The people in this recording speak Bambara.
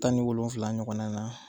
Tan ni wolonfula ɲɔgɔnna na